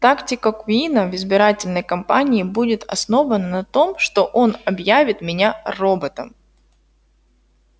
тактика куина в избирательной кампании будет основана на том что он объявит меня роботом